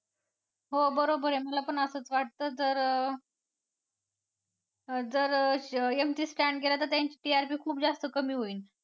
हो बरोबर आहे मला पण असंच वाटतं जर जर MC Stan गेला तर त्यांची TRP खूप जास्त कमी होईल.